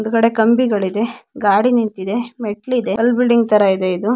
ಮುಂದಗಡೆ ಕಂಬಿಗಳು ಇದೆ ಗಾಡಿ ನಿಂತಿದೆ ಮೆಟ್ಲು ಇದೆ ಕಲ್ ಬಿಲ್ಡಿಂಗ್ ತರ ಇದೆ ಇದು.